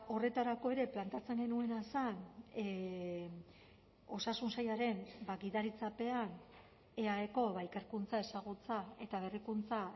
horretarako ere planteatzen genuena zen osasun sailaren gidaritzapean eaeko ikerkuntza ezagutza eta berrikuntza